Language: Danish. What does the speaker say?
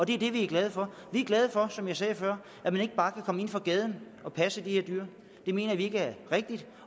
det er det vi er glade for vi er glade for som jeg sagde før at man ikke bare kan komme ind fra gaden og passe de her dyr det mener vi ikke er rigtigt